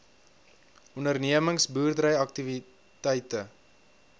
ondernemings boerdery aktiwiteite